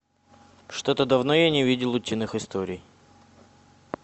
что то давно я не видел утиных историй